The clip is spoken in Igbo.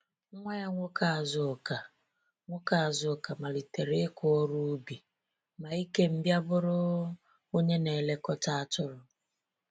Nwa ya nwoke Azuka nwoke Azuka malitere ịkụ ọrụ ubi, ma Ikem bịa bụrụ onye na-elekọta atụrụ.